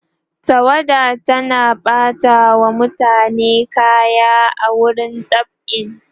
tawada tana ɓata wa mutane kaya a wurin dab'i